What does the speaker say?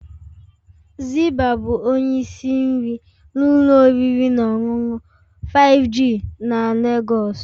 Zibah ​​bụ onye isi nri n'ụlọ oriri na ọṅụṅụ 5G na Lagos